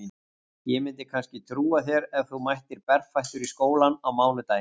Ég myndi kannski trúa þér ef þú mættir berfættur í skólann á mánudaginn